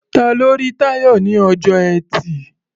Ta ló rí Táyọ̀ ní ọjọ́ Ẹtì?